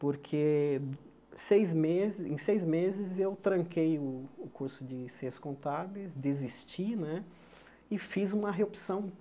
porque sei meses em seis meses eu tranquei o o curso de Ciências Contábeis, desisti né, e fiz uma reopção.